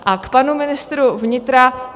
A k panu ministru vnitra.